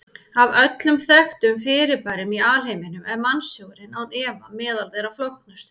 Af öllum þekktum fyrirbærum í alheiminum er mannshugurinn án efa meðal þeirra flóknustu.